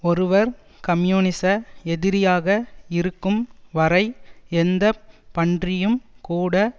ஒருவர் கம்யூனிச எதிரியாக இருக்கும் வரை எந்த பன்றியும் கூட